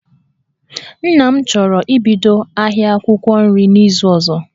Nna m chọrọ ibido ahia akwụkwọ nri n'izu ozo